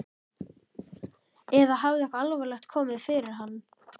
Eða hafði eitthvað alvarlegt komið fyrir hann?